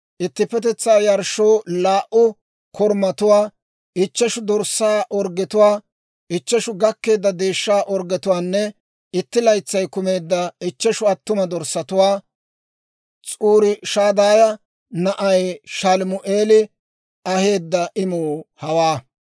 ittippetetsaa yarshshoo laa"u korumatuwaa, ichcheshu dorssaa orggetuwaa, ichcheshu gakkeedda deeshshaa orggetuwaanne itti laytsay kumeedda ichcheshu attuma dorssatuwaa. S'uriishadaaya na'ay Shalumi'eeli aheedda imuu hawaa.